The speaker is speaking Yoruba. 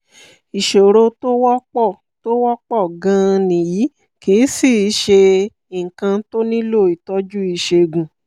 ìṣòro tó wọ́pọ̀ tó wọ́pọ̀ gan-an nìyí kìí sìí ṣe nǹkan tó nílò ìtọ́jú ìṣègùn